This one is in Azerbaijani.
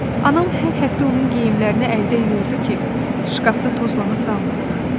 Anam hər həftə onun geyimlərini əldə yuyurdu ki, şkafda tozlanıb qalmasın.